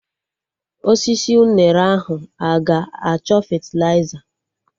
Osisi unere ahụ aga achọ fetịliza?